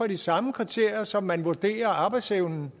de samme kriterier som man vurderer arbejdsevnen